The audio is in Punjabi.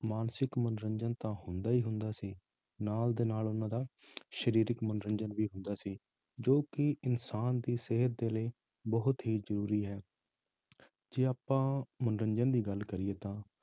ਮਾਨਸਿਕ ਮਨੋਰੰਜਨ ਤਾਂ ਹੁੰਦਾ ਹੀ ਹੁੰਦਾ ਸੀ, ਨਾਲ ਦੇ ਨਾਲ ਉਹਨਾਂ ਦਾ ਸਰੀਰਕ ਮਨੋਰੰਜਨ ਵੀ ਹੁੰਦਾ ਸੀ ਜੋ ਕਿ ਇਨਸਾਨ ਦੀ ਸਿਹਤ ਦੇ ਲਈ ਬਹੁਤ ਹੀ ਜ਼ਰੂਰੀ ਹੈ ਜੇ ਆਪਾਂ ਮਨੋਰੰਜਨ ਦੀ ਗੱਲ ਕਰੀਏ ਤਾਂ